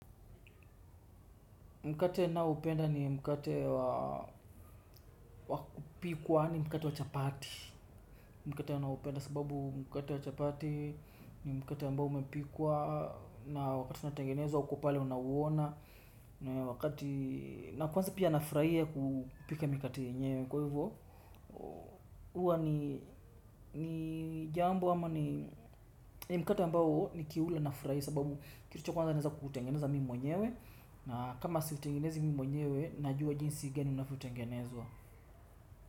Mkate ninaoupenda ni mkate wa wakupikwa ni mkate wa chapati. Mkate ninaopenda sababu mkate wa chapati ni mkate ambao umepikwa. Na wakati unatengenezwa uko pale unauona. Na wakati na kwanza pia nafurahia kupika mikate yenyewe kwa hivyo huwa ni jambo ama ni mkate ambao nikiula nafurahi sababu, kitu cha kwanza naeza kuutengeneza mimi mwenyewe. Na kama siutengenezi mimi mwenyewe najua jinsi gani unavyotengenezwa.